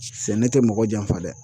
Sɛnɛ tɛ mɔgɔ janfa dɛ